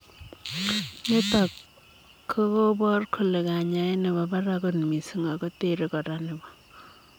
Nitok kakopaar kolee kanyaet nepoo parak koot mising ago terei koraa nepoo